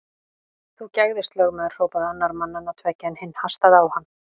Þú gægðist, lögmaður hrópaði annar mannanna tveggja, en hinn hastaði á hann.